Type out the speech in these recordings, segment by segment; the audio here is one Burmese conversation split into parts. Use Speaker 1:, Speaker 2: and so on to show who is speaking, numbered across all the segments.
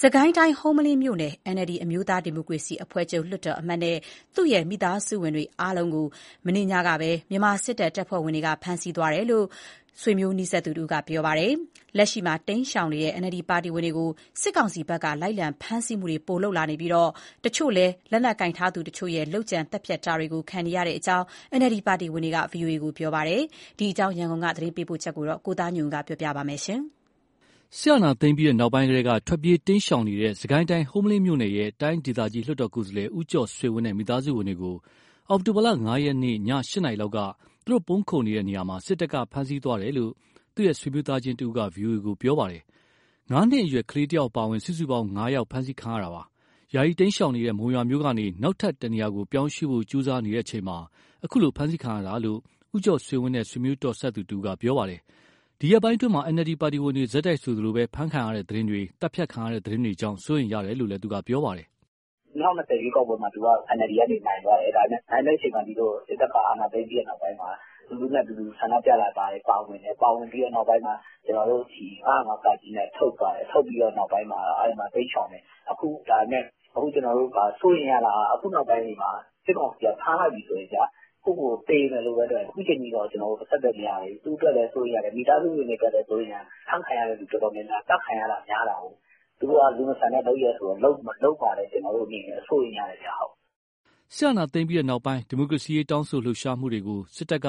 Speaker 1: စစ်ကိုင်းတိုင်း ဟုမ္မလင်းမြို့နယ် NLD အမျိုးသားဒီမိုကရေစီအဖွဲ့ချုပ် လွှတ်တော်အမတ်နဲ့ သူ့ရဲ့မိသားစုဝင်အားလုံးကို မနေ့ညက မြန်မာစစ်တပ် တပ်ဖွဲ့ဝင်တွေ ဖမ်းဆီးသွားတယ်လို့ ဆွေမျိုးသားချင်းတွေက ပြောပါတယ်။ လက်ရှိမှာ တိမ်းရှောင်နေတဲ့ NLD ပါတီဝင်တွေကို စစ်ကောင်စီဘက်က လိုက်လံဖမ်းဆီးမှုတွေ ပိုလုပ်လာနေပြီး တချို့လည်း လက်နက်ကိုင်ထားသူတချို့ရဲ့ လုပ်ကြံသတ်ဖြတ်တာတွေ ခံနေရတဲ့အကြောင်း NLD ပါတီဝင်တွေက VOA ကို ပြောပါတယ်။ ဒီအကြောင်း ရန်ကုန်က သတင်းပေးပို့ချက်ကို ကိုသားညွန့်ဦးက တင်ပြပေးထားပါတယ်။
Speaker 2: စစ်အာဏာသိမ်းပြီးနောက်ပိုင်းကတည်းက ထွက်ပြေးတိမ်းရှောင်နေတဲ့ စစ်ကိုင်းတိုင်း၊ ဟုမ္မလင်းမြို့နယ်ရဲ့ တိုင်းဒေသကြီး လွှတ်တော်ကိုယ်စားလှယ် ဦးကျော်ဆွေဝင်းနဲ့ မိသားစုဝင်တွေကို အောက်တိုဘာလ ၅ ရက် ည ၈ နာရီလောက်က ပုန်းခိုနေတဲ့ နေရာမှာ စစ်တပ်က ဖမ်းဆီးသွားတယ်လို့ သူ့ရဲ့ဆွေမျိုးသားချင်းတဦးက ဗွီအိုအေကို ပြောပါတယ်။ ငါးနှစ်အရွယ်ကလေးတယောက် အပါအဝင် စုစုပေါင်း ၅ ယောက် ဖမ်းဆီးခံရတာပါ။ ယာယီတိမ်းရှောင်နေတဲ့ မုံရွာမြို့ကနေ နောက်ထပ် တနေရာကို ပြောင်းရွှေ့ဖို့ကြိုးစားနေချိန်မှာ အခုလို ဖမ်းဆီးခံရတာလို့လည်း ဦးကျော်ဆွေဝင်းနဲ့ ဆွေမျိုးတော်စပ်သူတဦးက ပြောပါတယ်။ ဒီရက်ပိုင်းအတွင်းမှာ NLD ပါတီဝင်တွေ ဆက်တိုက်ဆိုသလို ဖမ်းဆီးခံရတဲ့သတင်းတွေ၊ သတ်ဖြတ်ခံရတဲ့ သတင်းတွေကြောင့် စိုးရိမ်ရတယ်လို့လည်း ပြောပါတယ်။
Speaker 3: " ၂၀၂၀ ရွေးကောက်ပွဲမှာ သူက NLD ကနေနိုင်သွားတယ်။ နိုင်တဲ့အချိန်မှာ စစ်တပ်ကအာဏာသိမ်းပြီး နောက်ပိုင်းမှာ လူထုနဲ့အတူ ဆန္ဒပြတာတွေမှာပါဝင်တယ်။ နောက်ပိုင်းမှာ ၅၀၅ (က) နဲ့ ထုတ်ပြီးတဲ့နောက်ပိုင်းမှာ တိမ်းရှောင်တယ်။ အခု စိုးရိမ်ရတာက စစ်ကောင်စီက ဖမ်းလိုက်ပြီဆိုရင်ဗျာ ကိုယ့်ကိုယ်ကိုယ် သေမယ်လို့ပဲ တွက်တယ်။ အခုအချိန်အထိတော့ ကျနော်တို့ အဆက်အသွယ်မရသေးဘူး။ သူ့ အတွက်လည်း စိုးရိမ်ရတယ်၊ မိသားစုဝင်တွေအတွက်လည်း စိုးရိမ်ရတယ်။ ဖမ်းခံရသူ တော်တော်များများက သတ်ခံရတာများတာကိုး။ သူတို့က လူမဆန်တဲ့လုပ်ရပ်ဆိုတော့ လုပ်မှာ ကျနော်တို့ စိုးရိမ်ရတယ်။"
Speaker 2: စစ်အာဏာသိမ်းပြီးနောက်ပိုင်း ဒီမိုကရေစီတောင်းဆိုလှုပ်ရှားသူတွေကို စစ်တပ်က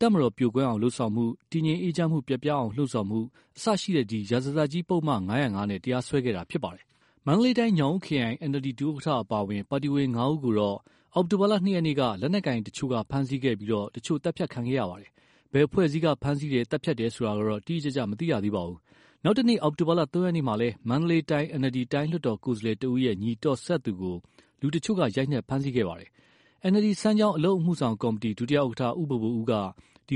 Speaker 2: တပ်မတော်ပြိုကွဲအောင်လုပ်ဆောင်မှု၊ တည်ငြိမ်အေးချမ်းမှု ပျက်ပြားအောင် လှုံ့ဆော်မှုစတဲ့ ရာဇသတ်ကြီးပုဒ်မ ၅၀၅ နဲ့ တရားစွဲခဲ့တာဖြစ်ပါတယ်။ မန္တလေးတိုင်း၊ ညောင်ဦးခရိုင် NLD ဒု ဥက္ကဋ္ဌ အပါအဝင် ပါတီဝင် ၅ ဦးကိုတော့ အောက်တိုဘာလ၂ ရက်က လက်နက်ကိုင်တချို့က ဖမ်းဆီးခဲ့ပြီး တချို့ သတ်ဖြတ်ခံခဲ့ရပါတယ်။ ဘယ်အဖွဲ့အစည်းက ဖမ်းဆီးတယ်၊ သတ်ဖြတ်တယ်ဆိုတာ တိတိကျကျ မသိရသေးပါဘူး။ နောက်တနေ့ အောက်တိုဘာလ ၃ ရက်မှာလည်း မန္တလေးတိုင်း NLD တိုင်းလွှတ်တော်ကိုယ်စားလှယ်တဦးရဲ့ ညီတော်စပ်သူကို လူတချို့က ရိုက်နှက်၊ ဖမ်းဆီးခဲ့တာပါ။ NLD စမ်းချောင်း အလုပ်မှုဆောင်ကော်မတီ ဒု ဥက္ကဋ္ဌ ဦးဘိုဘိုဦးက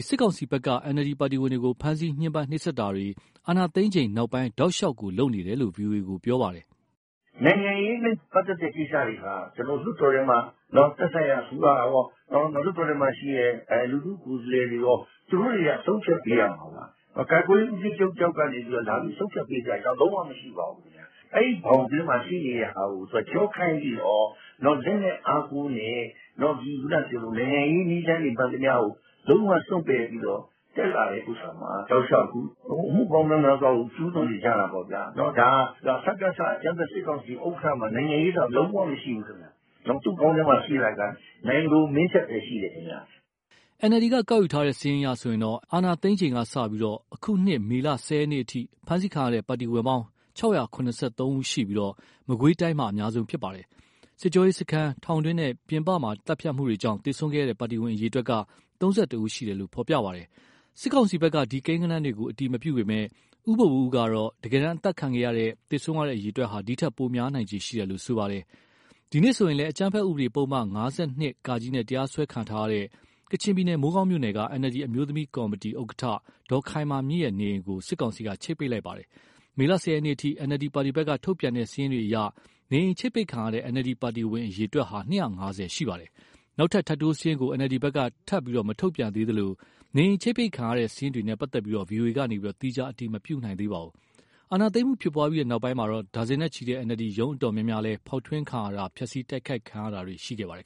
Speaker 2: စစ်ကောင်စီဘက်က NLD ပါတီဝင်တွေကို ဖမ်းဆီးညှင်းပန်းနှိပ်စက်တာတွေ၊ အာဏာသိမ်းချိန်နောက်ပိုင်း တောက်လျှောက် လုပ်နေတယ်လို့ ဗွီအိုအေကို ပြောပါတယ်။ " နိုင်
Speaker 4: ငံရေးနဲ့ ပတ်သက်တဲ့ကိစ္စတွေဟာ သက်ဆိုင်ရာအစိုးရကော လွှတ်တော်ထဲမှာရှိတဲ့ လူထုကိုယ်စားလှယ်တွေရော သူတို့တွေက ဆုံးဖြတ်ပေးရမှာ။ ကာကွယ်ရေး ဦးစီးချုပ်တယောက်ကနေ လာပြီးဆုံးဖြတ်ပေးစရာအကြောင်း လုံးဝမရှိပါဘူး။ အဲဒီဘောင်ထဲမှာရှိနေတာကို သူကကျောခိုင်းပြီးတော့ လက်နက်အားကိုးနဲ့ နိုင်ငံရေးနည်းလမ်းတွေ မှန်သမျှကို လုံးဝစွန့်ပယ်ပြီးတော့ တက်လာတာမှာ အမှုပေါင်း မြောက်များစွာကို ကျူးလွန်နေကြတာပေါ့ဗျာ။ ဒါက စကစအကြမ်းဖက် စစ်ကောင်စီဥက္ကဋ္ဌမှာ နိုင်ငံရေးဆိုတာ လုံးဝမရှိဘူး သူ့ခေါင်းထဲမှာရှိတာက နိုင်လိုမင်းထက်ပဲရှိတယ်။
Speaker 2: " NLD ကောက်ယူထားတဲ့ စာရင်းအရဆိုရင် အာဏာသိမ်းချိန်ကစပြီး အခုနှစ်မေလ ၁၀ ရက်အထိ ဖမ်းဆီးခံရတဲ့ ပါတီဝင်ပေါင်း ၆၇၃ ယောက်ရှိပြီး မကွေးတိုင်းက အများဆုံး ဖြစ်ပါတယ်။ စစ်ကြောရေးစခန်း၊ ထောင်တွင်းနဲ့ ပြင်ပမှာသတ်ဖြတ်မှုကြောင့် သေဆုံးခဲ့တဲ့ ပါတီဝင် အရေအတွက်က ၃၁ ယောက်ရှိတယ်လို့ ဖေါ်ပြပါတယ်။ စစ်ကောင်စီဘက်က ဒီကိန်းဂဏန်းတွေကို အတည်မပြုပေမယ့် ဦးဘိုဘိုဦးကတော့ တကယ်တမ်း အသတ်ခံရတဲ့၊ သေဆုံးရတဲ့အရေအတွက်ဟာ ဒီထက်ပိုများနိုင်ခြေရှိတယ်လို့ ပြောပါတယ်။ ဒီနေ့ဆိုရင်လည်း အကြမ်းဖက်ဥပဒေ ပုဒ်မ ၅၂ (က) နဲ့ တရားစွဲခံထားရတဲ့ ကချင်ပြည်နယ် မိုးကောင်းမြို့နယ်က NLD အမျိုးသမီးကော်မတီ ဥက္ကဋ္ဌဒေါ်ခိုင်မာမြင့်ရဲ့ နေအိမ်ကို စစ်ကောင်စီက ချိပ်ပိတ်လိုက်ပါတယ်။ မေလ ၁၀ ရက်အထိ NLD ပါတီဘက်က ထုတ်ပြန်တဲ့စာရင်းတွေအရ နေအိမ်ချိပ်ပိတ်ခံရတဲ့ NLD ပါတီဝင် အရေအတွက်ဟာ ၂၅၀ ရှိပါတယ်။ နောက်ထပ် ထပ်တိုးစရင်းကို NLD ဘက်က ထပ်မထုတ်ပြန်သေးသလို နေအိမ် ချိပ်ပိတ်ခံရတဲ့ စာရင်းတွေနဲ့ ပတ်သက်လို့ VOA က သီးခြား အတည်မပြုနိုင်ပါဘူး။ အာဏာသိမ်းမှုဖြစ်ပွားပြီး နောက်ပိုင်းမှာ ဒါဇင်နဲ့ ချီတဲ့ NLD ရုံးတော်တော်များများလည်း ဖေါက်ထွင်းခံရတာ၊ ဖျက်ဆီးတိုက်ခိုက် တာတွေ ခံခဲ့ရပါတယ်